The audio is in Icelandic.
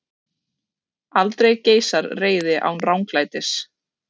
Aldrei geisar reiði án ranglætis.